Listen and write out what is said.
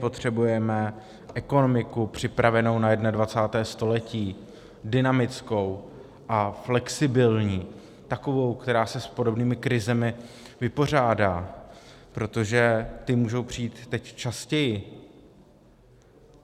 Potřebujeme ekonomiku připravenou na 21. století, dynamickou a flexibilní, takovou, která se s podobnými krizemi vypořádá, protože ty můžou přijít teď častěji.